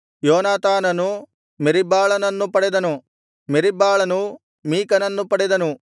ಯೋನಾತಾನನು ಮೆರೀಬ್ಬಾಳನನ್ನು ಪಡೆದನು ಮೆರೀಬ್ಬಾಳನು ಮೀಕನನ್ನು ಪಡೆದನು